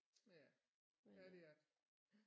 Ja ja det er det